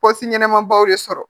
Pɔsi ɲɛnama baw de sɔrɔ